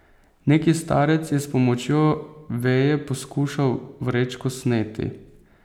Neki starec je s pomočjo veje poskušal vrečko sneti.